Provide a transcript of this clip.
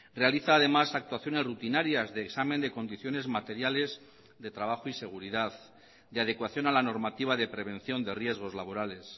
realiza además actuaciones rutinarias de examen de condiciones materiales de trabajo y seguridad de adecuación a la normativa de prevención de riesgos laborales